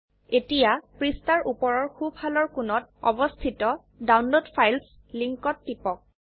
এতিয়া পৃষ্ঠাৰ উপৰৰ সো ফালৰ কোণত অবস্থিত ডাউনলোড ফাইলছ লিঙ্কত টিপক